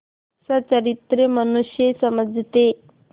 सच्चरित्र मनुष्य समझते